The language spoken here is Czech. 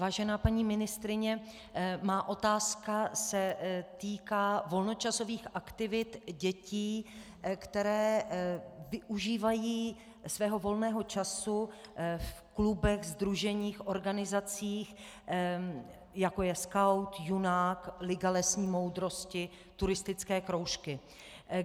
Vážená paní ministryně, má otázka se týká volnočasových aktivit dětí, které využívají svého volného času v klubech, sdruženích, organizacích jako je Skaut, Junák, Liga lesní moudrosti, turistické kroužky.